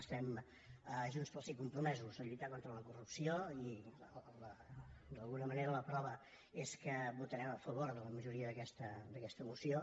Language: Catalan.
estem a junts pel sí compromesos a lluitar contra la corrupció i d’alguna manera la prova és que votarem a favor de la majoria d’aquesta moció